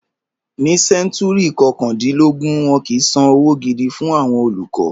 Ní sẹ́ńtúrì kọkàndínlógún, wọn kìí San owó gidi fún àwọn olùkọ́.